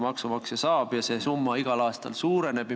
Ja see summa igal aastal suureneb.